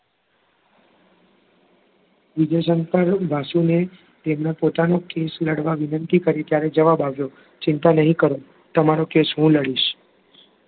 વિજય શંકર વાસુ ને તેમનો પોતાનો કેસ લડવા વિનંતી કરી ત્યારે જવાબ આવ્યો ચિંતા નહીં કરો તમારો કેસ હું લડીશ.